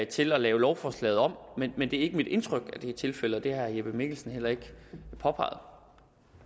til at lave lovforslaget om men det er ikke mit indtryk at det er tilfældet og det har herre jeppe mikkelsen heller ikke påpeget